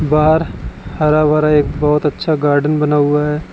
बाहर हरा भरा एक बहोत अच्छा गार्डन बना हुआ है।